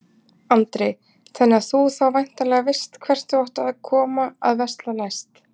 Andri: Þannig að þú þá væntanlega veist hvert þú átt að koma að versla næst?